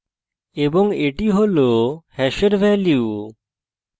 এবং এটি hash hash value